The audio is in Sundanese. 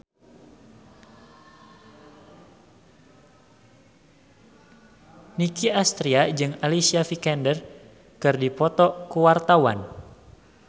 Nicky Astria jeung Alicia Vikander keur dipoto ku wartawan